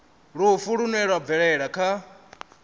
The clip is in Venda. lufu lune lwa bvelela kha